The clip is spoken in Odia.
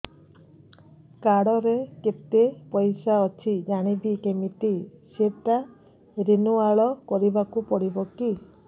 କାର୍ଡ ରେ କେତେ ପଇସା ଅଛି ଜାଣିବି କିମିତି ସେଟା ରିନୁଆଲ କରିବାକୁ ପଡ଼ିବ କି